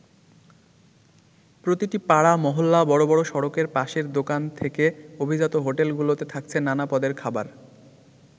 প্রতিটি পাড়া, মহল্লা, বড় বড় সড়কের পাশের দোকান থেকে অভিজাত হোটেলগুলোতে থাকছে নানা পদের খাবার।